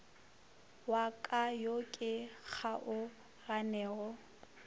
wa ka yo ke kgaoganego